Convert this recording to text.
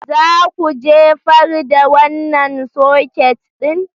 Za ku jefar da wannan soket ɗin?